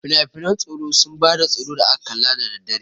Finafinan tsoro sun ba da tsoro da aka kalla da daddare.